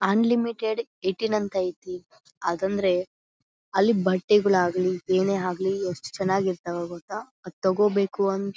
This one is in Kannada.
ಅನ್ಲಿಮಿಟೆಡ್ ಏಟಿನ್ ಅಂತ ಐತಿ ಆಗಂದ್ರೆ ಅಲ್ಲಿ ಬಟ್ಟೆಗಳು ಆಗ್ಲಿ ಏನೇ ಆಗ್ಲಿ ಎಷ್ಟ ಚನ್ನಾಗಿ ಇರತ್ವ್ ಗೊತ್ತಾ ಅದು ತೋಕೋಬೇಕು ಅಂತ .